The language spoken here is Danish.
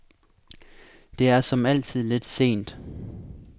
Det er som altid lidt sent.